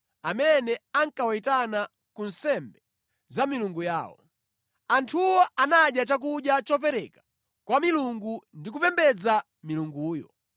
amene ankawayitana ku nsembe za milungu yawo. Anthuwo anadya chakudya chopereka kwa milungu ndi kupembedza milunguyo.